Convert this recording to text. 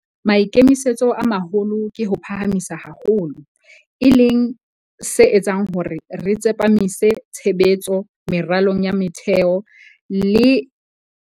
Maikemisetso a maholo ke ho o phahamisa haholo, e leng se etsang hore re tsepamise tshebetso meralong ya metheo e leng yona e thusang kgolong ya ona.